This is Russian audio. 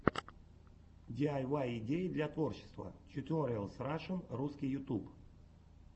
диайвай идеи для творчества тьюториалс рашн русский ютуб